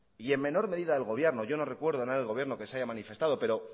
y en menor medida del gobierno yo no recuerdo a nadie del gobierno que se haya manifestado pero